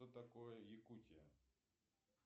что такое якутия